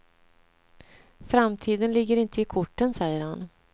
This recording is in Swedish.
Framtiden ligger inte i korten, säger han.